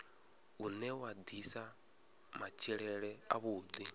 une wa ḓisa matshilele avhuḓi